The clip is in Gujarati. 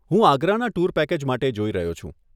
હું આગ્રાના ટુર પેકેજ માટે જોઈ રહ્યો છું.